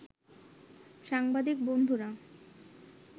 সাংবাদিক বন্ধুরা